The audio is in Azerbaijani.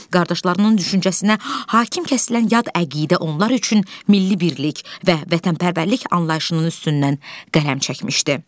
Qardaşlarının düşüncəsinə hakim kəsilən yad əqidə onlar üçün milli birlik və vətənpərvərlik anlayışının üstündən qələm çəkmişdi.